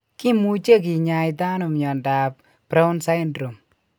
Kimuche kinyaita nao miondap Brown syndrome?